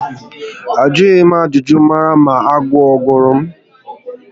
Ajụghi m ajụjụ mara ma agụụ ogụrụ m